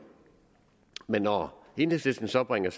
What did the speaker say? men når enhedslisten så bringer